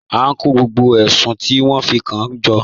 A n kọ gbogbo èṣùn ti wọn fi kan jọ.